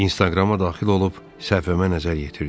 İnstagrama daxil olub səhifəmə nəzər yetirdim.